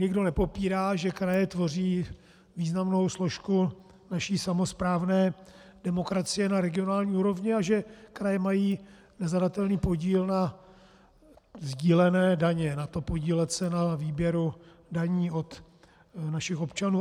Nikdo nepopírá, že kraje tvoří významnou složku naší samosprávné demokracie na regionální úrovni a že kraje mají nezadatelný podíl na sdílené daně, na tom, podílet se na výběru daní od našich občanů.